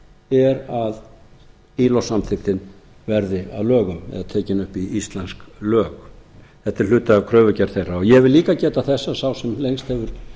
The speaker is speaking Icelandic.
er að ilo samþykktin verði að lögum eða tekin upp í íslensk lög þetta er hluti af kröfugerð þeirra ég vil líka geta þess að sá sem hér lengst hefur